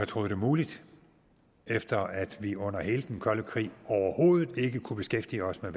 troet det muligt efter at vi under hele den kolde krig overhovedet ikke kunne beskæftige os med